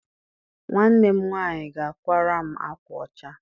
Nwanne m nwaanyị ga-akwara m akwa ọcha.